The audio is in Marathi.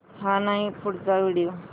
हा नाही पुढचा व्हिडिओ